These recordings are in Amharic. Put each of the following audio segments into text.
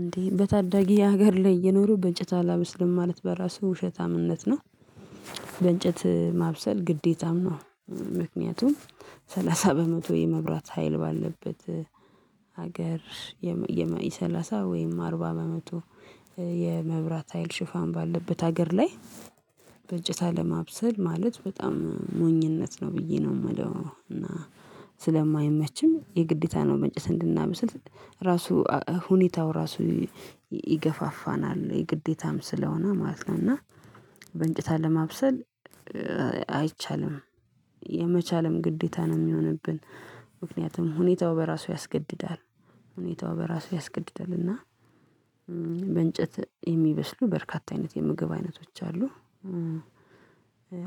እንዴ በታዳጊ ሀገር ላይ እኖሩ በእንጨታ አላበስልም ማለት በራሱ ውሸታምነት ነው። በእንጨት ማብሰል ግዴታም ነው። ምክንያቱም ሰላሳ በመቶ የመብራት ሀይል ባለበት ሀገር የመኢ ሰላሳ ወይም አርባ በመቶ የመብራት ሀይል ሽፋን ባለበት ሀገር ላይ። በእንጨት አለማብሰል ማለት በጣም ሞኝነት ነው ብዬ ነው የማለው። እና ስለማይመችም የግዴታ ነው መንጨት እንድናብስል ራሱ ሁኔታው ራሱ ይገፋፋናል የግዴታም ስለሆነ ማለት ነው። እና በእንጭት አለማብሰል አይቻልም። የመቻልም ግዴታ ነው የሚሆንብን። ምክንያቱም ሁኔታው በራሱ ያስገድዳል ሁኔታው በራሱ ያስገድዳል። እና የሚበስሉ በርካታ አይነት የምግብ አይነቶች አሉ።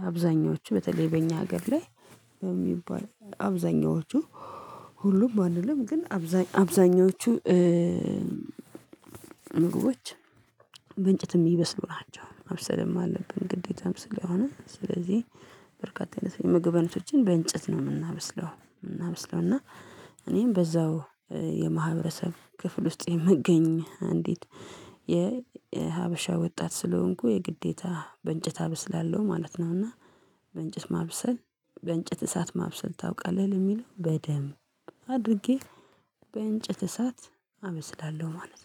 አብዛኞቹ በተለይ በእኛ ሀገር ላይ በሚባል አብዛኞቹ ሁሉም አንልም ግን አብዛኞቹ ምግቦች በእንጨት የሚበስሉ ናቸው። ማብሰልም አለብን ግዴታም ስለሆነ ስለዚህ በርካታ የምግቦችን በእንጨት ነው የምናበስለው የምናበስለው። እናበስላለን እና እኔም በዛው የማህበረሰብ ክፍል ውስጥ የምገኝ አንዲት የሀበሻ ወጣት ስለሆንኩ የግዴታ በእንጨት አብስላለሁ ማለት ነው። እና በእንጨት ማብሰል በእንጭት እሳት ማብሰል ታውቃለህ ለሚለው በደንብ አድርጌ በእንጭት እሳት አበስላለሁ ማለት ነው